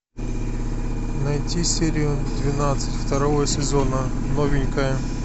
найти серию двенадцать второго сезона новенькая